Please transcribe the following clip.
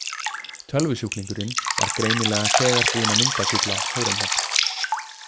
Tölvusjúklingurinn var greinilega þegar búinn að myndagúgla Hóremheb.